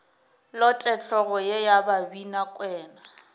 lote hlogo ye ya babinakwena